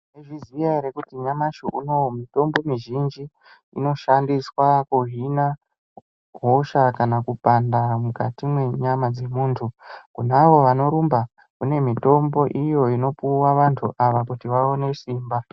Maizviziya ere kuti nyamashi unou mitombo mizhinji inoshandiswa kuhina hosha kana kupanda mukati mwenyama dzemunthu kune avo vanorumba kune mitombo iyo inopiwa vanthu ava kuti vaone simba.